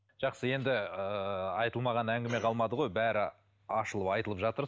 жақсы енді ыыы айтылмаған әңгіме қалмады ғой бәрі ашылып айтылып жатыр